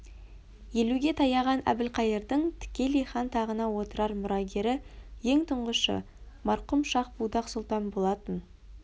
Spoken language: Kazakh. елуге таяған әбілқайырдың тікелей хан тағына отырар мұрагері ең тұңғышы марқұм шах-будақ сұлтан болатын